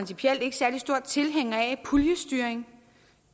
særlig stor tilhænger af puljestyring